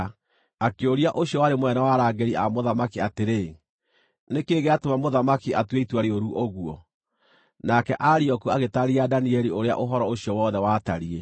Akĩũria ũcio warĩ mũnene wa arangĩri a mũthamaki atĩrĩ, “Nĩ kĩĩ gĩatũma mũthamaki atue itua rĩũru ũguo?” Nake Arioku agĩtaarĩria Danieli ũrĩa ũhoro ũcio wothe watariĩ.